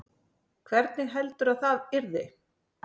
Hvernig heldurðu að það yrði?